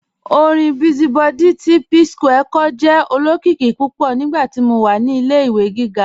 Ọ̀rin Busy Body ti Psquare jẹ́ olokiki púpọ̀ nígbàtí mó wà ní ilẹ̀-ìwé gígá.